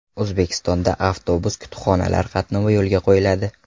O‘zbekistonda avtobus-kutubxonalar qatnovi yo‘lga qo‘yiladi.